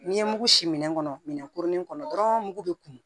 N'i ye mugu si minɛn kɔnɔ minɛn kurunin kɔnɔ dɔrɔn mugu bɛ kun